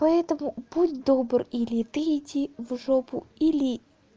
поэтому будь добр или ты иди в жопу или